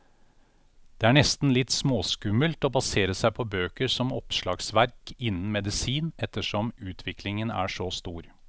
Det er nesten litt småskummelt å basere seg på bøker som oppslagsverk innen medisin, ettersom utviklingen er så stor.